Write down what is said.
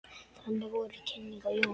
Þannig voru kynnin af Jónu.